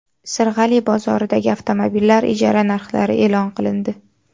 Sirg‘ali bozoridagi avtomobillar ijara narxlari e’lon qilindi.